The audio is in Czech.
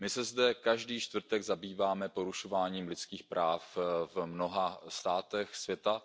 My se zde každý čtvrtek zabýváme porušováním lidských práv v mnoha státech světa.